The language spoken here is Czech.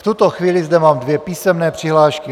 V tuto chvíli zde mám dvě písemné přihlášky.